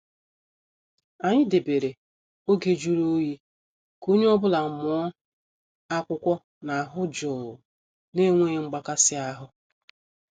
Anyị debere oge jụrụ oyi ka onye ọ bụla mụọ akwụkwọ n' ahụ jụụ na enweghị mgbakasi ahụ.